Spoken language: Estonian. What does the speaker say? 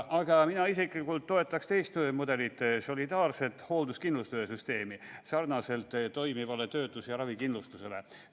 Aga mina isiklikult toetaksin teist mudelit, solidaarset hoolduskindlustuse süsteemi sarnaselt toimiva töötus- ja ravikindlustusega.